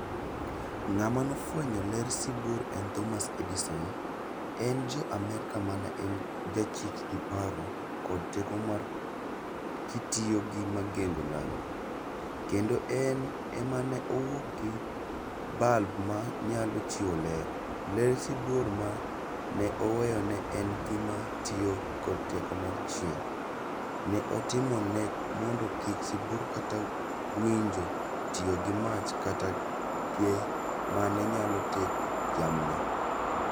Ngáma ne ofwenyo ler sibuor en Thomas Eddison. En ja Amerka, mane en jachich gi paro kod teko mar, kitiyo gi magengo lami. Kendo en ema ne owuok gi bulb ma nyalo chiwo ler. Ler sibuor ma ne oweyo ne en gima tiyo kod teko mar chieng'. Ne otimo ne mondo kik sibuor kata winjo tiyo gi mach kata mane nyalo jamni.